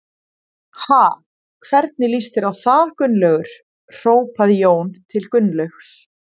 Ha, hvernig líst þér á það Gunnlaugur? hrópaði Jón til Gunnlaugs.